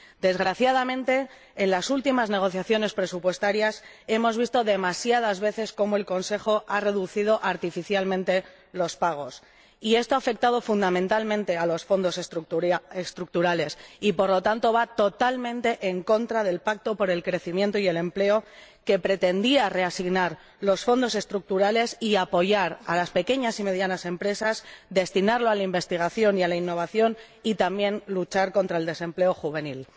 Desgraciadamente, en las últimas negociaciones presupuestarias hemos visto demasiadas veces cómo el Consejo ha reducido artificialmente los pagos y esto ha afectado, fundamentalmente, a los Fondos Estructurales, algo que va totalmente en contra del Pacto por el Crecimiento y el Empleo, que pretendía reasignar los Fondos Estructurales y apoyar a las pequeñas y medianas empresas, destinarlos a la investigación y a la innovación, y también luchar contra el desempleo juvenil.